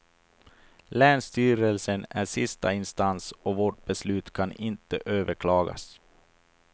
Länsstyrelsen är sista instans och vårt beslut kan inte överklagas.